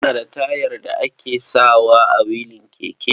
Kana da wayar da ake sawa a wilin keke?